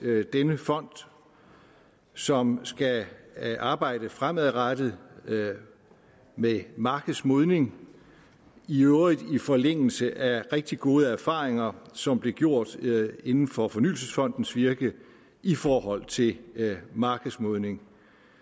denne fond som skal arbejde fremadrettet med markedsmodning i øvrigt i forlængelse af rigtig gode erfaringer som blev gjort inden for fornyelsesfondens virke i forhold til markedsmodning